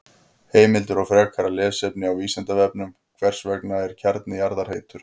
Heimildir og frekara lesefni á Vísindavefnum: Hvers vegna er kjarni jarðar heitur?